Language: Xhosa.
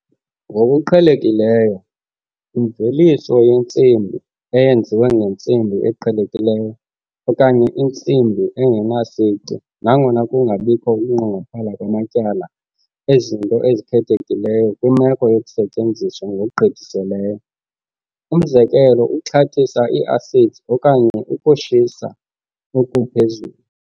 Ngokuqhelekileyo imveliso yensimbi, eyenziwe ngentsimbi eqhelekileyo okanye insimbi engenasici, nangona kungabikho ukunqongophala kwamatyala ezinto ezikhethekileyo kwimeko yokusetyenziswa ngokugqithiseleyo, umzekelo ukuxhathisa i-acids okanye ukushisa okuphezulu.